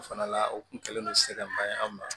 O fana la o kun kɛlen no se ka maɲ'an ma